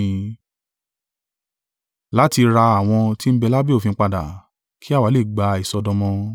Láti ra àwọn tí ń bẹ lábẹ́ òfin padà, kí àwa lè gba ìsọdọmọ.